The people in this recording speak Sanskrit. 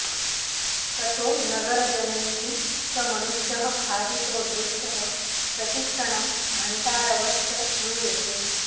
ततो नगरजनैः स मनुष्यः खादितो दृष्टः प्रतिक्षणं घण्टारवश्च श्रूयते